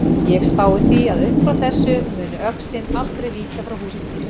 Ég spái því að uppfrá þessu muni öxin aldrei víkja frá húsi þínu.